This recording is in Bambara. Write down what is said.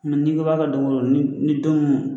n'i ko i b'a kɛ don o don ni ni don min man